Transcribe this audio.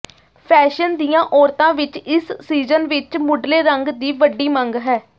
fashion ਦੀਆਂ ਔਰਤਾਂ ਵਿਚ ਇਸ ਸੀਜ਼ਨ ਵਿਚ ਮੁਢਲੇ ਰੰਗ ਦੀ ਵੱਡੀ ਮੰਗ ਹੈ